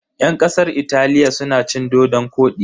Yan kasar Italiya suna cin dodon-kwodi.